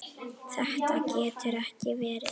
Þetta getur ekki verið.